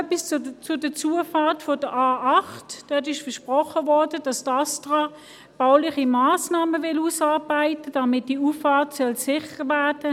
Noch etwas zu der Zufahrt der A8: Es wurde versprochen, dass das Bundesamt für Strassen (Astra) bauliche Massnahmen ausarbeitet, damit diese Auffahrt sicher wird.